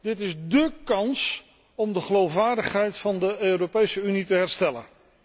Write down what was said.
Dit is dé kans om de geloofwaardigheid van de Europese Unie te herstellen.